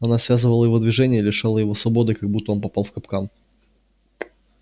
она связывала его движения и лишала его свободы как будто он попал в капкан